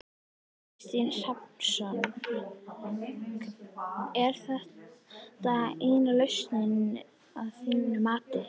Kristinn Hrafnsson: Er þetta eina lausnin að þínu mati?